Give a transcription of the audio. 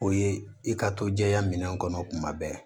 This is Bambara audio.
O ye i ka to jɛya minɛn kɔnɔ tuma bɛɛ